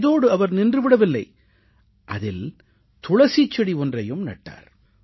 இதோடு அவர் நின்று விடவில்லை அதில் துளசிச் செடி ஒன்றையும் நட்டார்